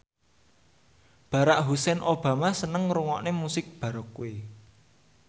Barack Hussein Obama seneng ngrungokne musik baroque